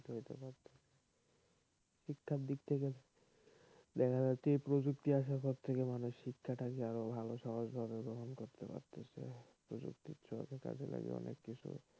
শিক্ষার দিক থেকে দেখা যাচ্ছে যে প্রযুক্তি আসার পর থেকে মানুষ শিক্ষাকে আরো ভালো সহজভাবে গ্রহণ করতে পারতেসে প্রযুক্তির ছোঁয়া কাজে লাগিয়ে অনেক কিছু,